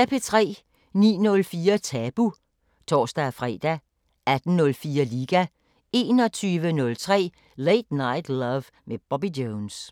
09:04: Tabu (tor-fre) 18:04: Liga 21:03: Late Night Love med Bobby Jones